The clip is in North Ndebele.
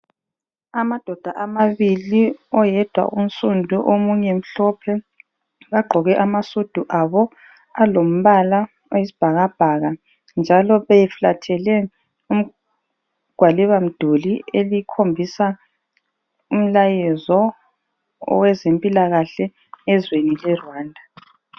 Amadoda amabili, oyedwa unsundu omunye mhlophe, bagqoke amasudu abo alombala oyisibhakabhaka. Njalo beflathele igwalibamduli elikhombisa umlayezo owezempilakahle ezweni leRwanda.